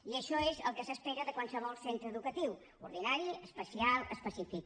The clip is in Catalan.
i això és el que s’espera de qualsevol centre educatiu ordinari especial específic